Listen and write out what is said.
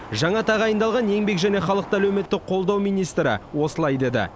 жаңа тағайындалған еңбек және халықты әлеуметтік қолдау министрі осылай деді